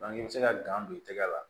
i bɛ se ka don i tɛgɛ la